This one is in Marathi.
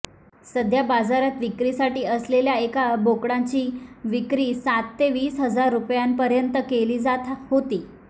सध्या बाजारात विक्रीसाठी असलेल्या एका बोकडांची विक्री सात ते वीस हजार रुपयांपर्यंत केली जात होती